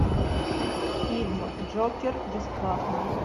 фильм джокер бесплатно